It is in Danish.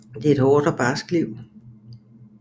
Det er et hårdt og barsk liv